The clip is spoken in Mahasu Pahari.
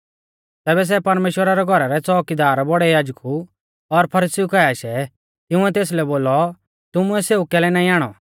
तैबै सै परमेश्‍वरा रै घौरा रै च़ोउकीदार बौड़ै याजकु और फरीसीउ काऐ आशै तिंउऐ तेसलै बोलौ तुमुऐ सेऊ कैलै नाईं आणौ